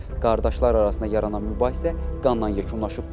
Qardaşlar arasında yaranan mübahisə qanla yekunlaşıb.